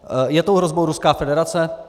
Je tou hrozbou Ruská federace?